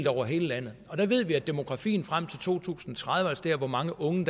over hele landet og der ved vi at demografien frem til to tusind og tredive altså hvor mange unge